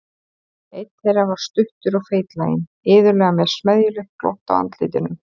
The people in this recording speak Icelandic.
Einn þeirra var stuttur og feitlaginn, iðulega með smeðjulegt glott á andlitinu.